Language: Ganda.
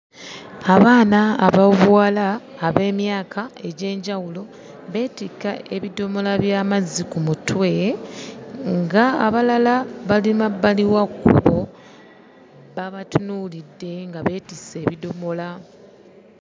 Abaana ab'obuwala ab'emyaka egy'enjawulo beetikka ebidomola by'amazzi ku mutwe ng'abalala bali mabbali wa kkubo babatunuulidde nga beetisse ebidomola.